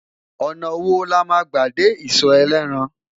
ọnà wò lama gbà dé iso elétàn?